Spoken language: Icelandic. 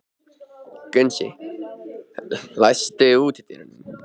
Gunnsi, læstu útidyrunum.